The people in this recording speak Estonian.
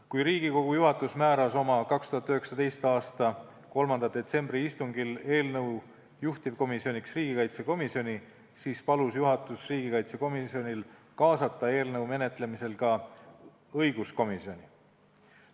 Kui Riigikogu juhatus 2019. aasta 3. detsembri istungil määras eelnõu juhtivkomisjoniks riigikaitsekomisjoni, siis palus juhatus riigikaitsekomisjonil kaasata eelnõu menetlemisse ka õiguskomisjoni.